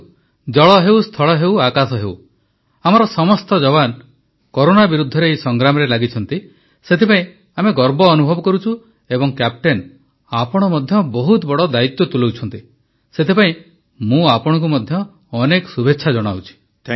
ଦେଖନ୍ତୁ ଜଳ ହେଉ ସ୍ଥଳ ହେଉ ଆକାଶ ହେଉ ଆମର ସମସ୍ତ ଯବାନ କରୋନା ବିରୁଦ୍ଧରେ ଏହି ସଂଗ୍ରାମରେ ଲାଗିଛନ୍ତି ସେଥିପାଇଁ ଆମେ ଗର୍ବ ଅନୁଭବ କରୁଛୁ ଏବଂ କ୍ୟାପ୍ଟେନ ଆପଣ ମଧ୍ୟ ବହୁତ ବଡ଼ ଦାୟିତ୍ୱ ତୁଲାଇଛନ୍ତି ସେଥିପାଇଁ ମୁଁ ଆପଣଙ୍କୁ ମଧ୍ୟ ଅନେକ ଶୁଭେଚ୍ଛା ଜଣାଉଛି